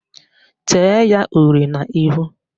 Tee ya uri n'ihu!